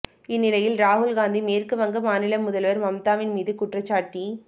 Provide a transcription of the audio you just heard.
இந்நிலையில் ராகுல் காந்தி மேற்கு வங்க மாநில முதல்வர் மம்தாவின் மீது குற்றச்சாட்டி